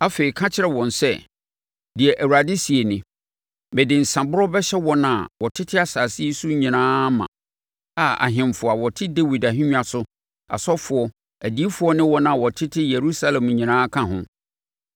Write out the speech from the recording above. afei, ka kyerɛ wɔn sɛ, ‘Deɛ Awurade seɛ nie: Mede nsãborɔ bɛhyɛ wɔn a wɔtete asase yi so nyinaa ma, a ahemfo a wɔte Dawid ahennwa so, asɔfoɔ, adiyifoɔ ne wɔn a wɔtete Yerusalem nyinaa ka ho.